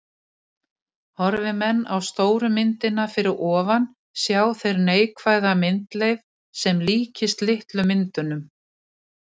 Horfi menn á stóru myndina fyrir ofan sjá þeir neikvæða myndleif sem líkist litlu myndunum.